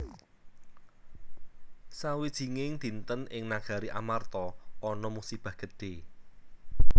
Sawijinging dinten ing Nagari Amarta ana musibah gedhe